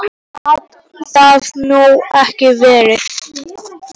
Minna gat það nú ekki verið.